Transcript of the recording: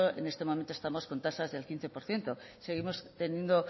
en este momento estamos con tasas del quince por ciento seguimos teniendo